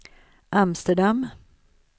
Amsterdam